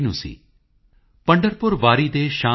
रैदास मनुष ना जुड़ सके